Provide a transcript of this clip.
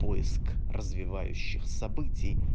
поиск развивающих событий